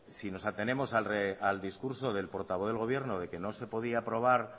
si nos atenemos al discurso del portavoz del gobierno de que no se podía aprobar